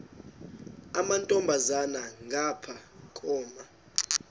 amantombazana ngapha koma